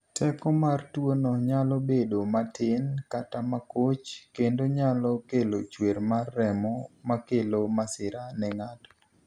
Teko mar tuono nyalo bedo matin kata makoch kendo nyalo kelo chwer mar remo makelo masira ne ng'ato.